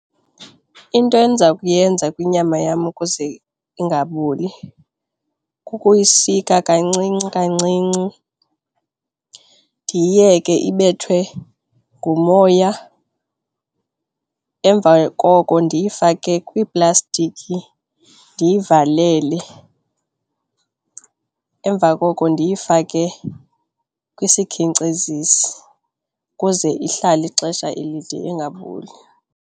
Into endiza kuyenza kwinyama yam ukuze ingaboli kukuyisika kancinci kancinci ndiyiyeke ibethwe ngumoya. Emva koko ndiyifake kwiiplastiki ndiyivalele, emva koko ndiyifake kwisikhenkcezisi ukuze ihlale ixesha elide ingaboli.